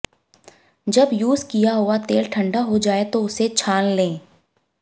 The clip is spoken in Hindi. जब यूज किया हुआ तेल ठंडा हो जाए तो उसे छान लें